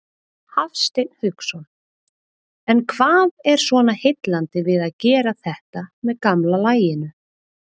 Hafsteinn Hauksson: En hvað er svona heillandi við að gera þetta með gamla laginu?